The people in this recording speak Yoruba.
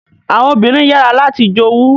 Àwọn obìnrin yàrá láti jowu.